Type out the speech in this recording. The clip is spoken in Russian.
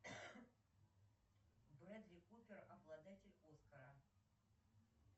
бредли купер обладатель оскара